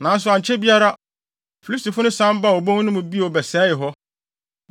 Nanso ankyɛ biara, Filistifo no san baa obon no mu bio bɛsɛee hɔ.